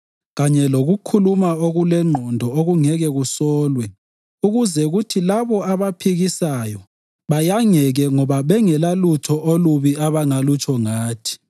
kanye lokukhuluma okulengqondo okungeke kusolwe ukuze kuthi labo abakuphikisayo bayangeke ngoba bengelalutho olubi abangalutsho ngathi.